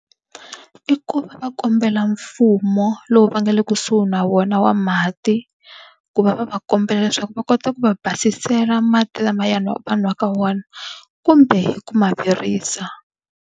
I ku va va kombela mfumo lowu va nga le kusuhi na wona wa mati, ku va va va kombela leswaku va kota ku va basisa chela mati lamayani va nwaka wona kumbe ku ma virisa.